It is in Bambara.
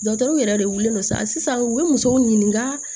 yɛrɛ de wili no sa sisan u ye musow ɲininka